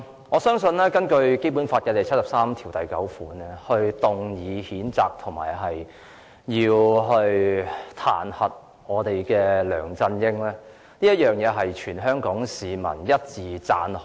我相信根據《基本法》第七十三條第九項動議的譴責和彈劾梁振英的議案獲得全港市民一致讚好。